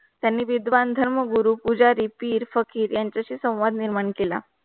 त्यांनी विद्वान धर्म गुरु पुजारी पीर फकीर यांचाशी संवाद निर्माण केला.